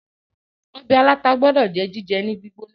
ọbẹ̀ aláta gbódò jẹ́ jíjẹ ní gbígbóná